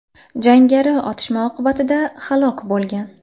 Jangari otishma oqibatida halok bo‘lgan.